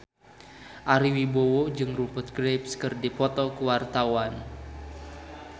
Ari Wibowo jeung Rupert Graves keur dipoto ku wartawan